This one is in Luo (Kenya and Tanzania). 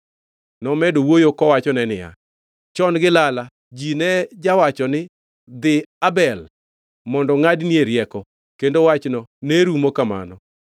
Nomedo wuoyo kowachone niya, “Chon gi lala ji ne jawacho ni, ‘Dhi Abel mondo ngʼadnie rieko,’ kendo wachno ne rumo kamano.